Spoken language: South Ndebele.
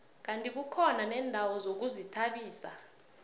kandi kukhona neendawo zokuzithabisa